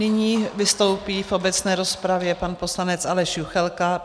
Nyní vystoupí v obecné rozpravě pan poslanec Aleš Juchelka.